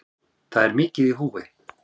Það er mikið í húfi